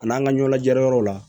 A n'an ka ɲɛnajɛyɔrɔw la